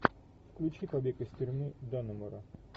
включи побег из тюрьмы даннемора